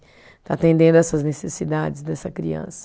Está atendendo essas necessidades dessa criança.